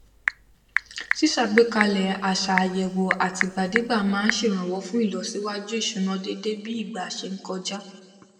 ṣíṣàgbékalẹ àṣà àyẹwò àtìgbàdégbà máa n ṣèrànwọ fún ìlọsíwájú ìṣúná déédé bí ìgbà ṣe n kọjá